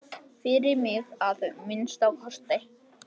Fyrir mig, að minnsta kosti.